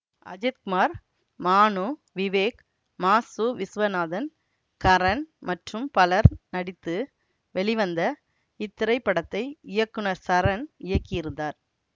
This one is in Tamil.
அஜித் குமார் மானு விவேக் ம சு விசுவநாதன் கரன் மற்றும் பலர் நடித்து வெளிவந்த இத்திரைப்படத்தை இயக்குனர் சரண் இயக்கியிருந்தார்